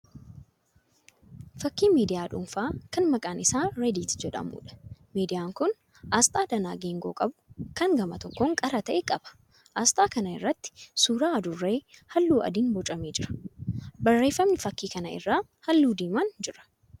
Fakkii miidiyaa dhuunfaa kan maqaan isaa 'reddit' jedhamuudha. Miidiyaan kun asxaa danaa geengoo qabu kan gama tokkon qara ta'e qaba. Asxaa kana irratti suuraa adurree halluu adiin boocamee jira. Barreeffamni fakkii kana irraa halluu diimaan jira.